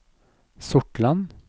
Sortland